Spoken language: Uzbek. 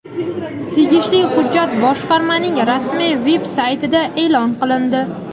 Tegishli hujjat boshqarmaning rasmiy veb-saytida e’lon qilindi.